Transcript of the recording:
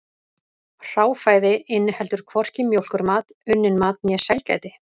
Hráfæði inniheldur hvorki mjólkurmat, unnin mat né sælgæti.